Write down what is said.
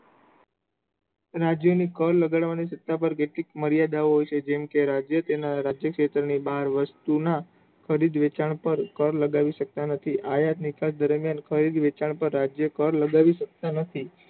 રાજ્ય ની કર ગણવા ની સત્તા પર કેટલી મર્યાદાઓ હોય છે જેમકે રાજ્ય તેના આર્થિક ક્ષેત્રે બહાર વસ્તુ ના ખરીદ વેચાણ પણ કર લગાવી શકતા નથી. આ મર્યાદા નિકાસ દરમિયાન ખરીદ વેચાણ પર રાજ્ય કર લગાવી શકતા નથી